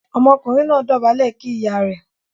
Ọmọkùnrin náà dobale kí ìyá rẹ̀.